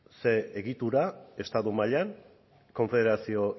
zer egitura estatu mailan konfederazio